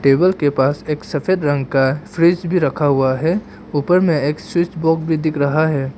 Table के पास एक सफेद रंग का फ्रिज भी रखा हुआ है ऊपर में एक स्विच बॉक्स भी दिख रहा है।